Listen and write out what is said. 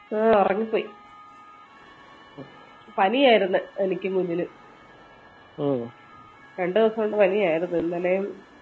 ആഹ് ഒറങ്ങിപ്പോയി പനിയായിരുന്ന് എനിക്ക് മുന്നിൽ രണ്ട് ദിവസഒണ്ട് പനിയായിരുന്ന് ഇന്നലേം